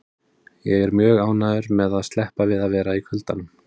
Ég er mjög ánægður með að sleppa við að vera í kuldanum.